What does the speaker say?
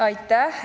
Aitäh!